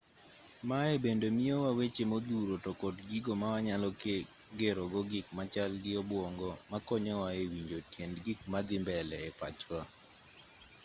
maye bende miyowa weche modhuro to kod gigo mawanyalo gero go gik machal gi obwongo makonyowa e winjo tiend gik madhi mbele e pachwa